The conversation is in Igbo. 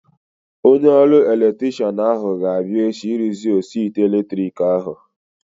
Onye ọrụ elektrikshan ahu ga-abịa echi ịrụzi osi ite elektriki ahu